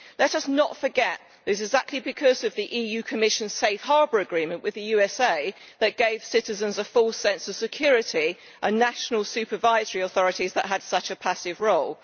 Let us not forget that it is exactly the EU Commission's Safe Harbour Agreement with the USA that gave citizens a false sense of security and national supervisory authorities that had such a passive role.